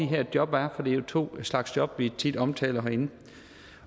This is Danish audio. her job er for det er jo to slags job vi tit omtaler herinde